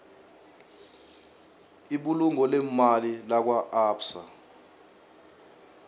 ibulungo leemali lakwaabsa